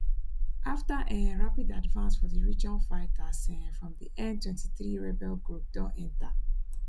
afta um rapid advance for di region fighters um from di m23 rebel group don enta